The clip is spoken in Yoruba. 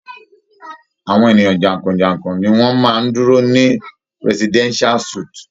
Awọn eniyan jankọjankọ ni wọn maá ń duro ni Presidential suit.